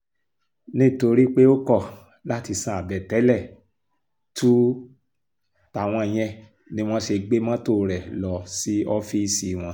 nítorí pé ó kọ̀ láti san àbẹ̀tẹ́lẹ̀ túú táwọn yẹn ni wọ́n ṣe gbé mọ́tò rẹ̀ lọ sí ọ́fíìsì wọn